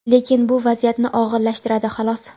lekin bu vaziyatni og‘irlashtiradi xolos.